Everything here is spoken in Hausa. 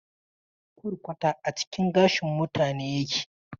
Kwarkwata a cikin gashin mutane yake.